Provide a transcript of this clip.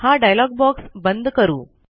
हा dialogue box बंद करू